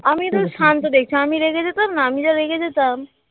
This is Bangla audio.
আমিও তো শান্ত দেখছো আমি রেগে যেতাম না আমি যা রেগে যেতাম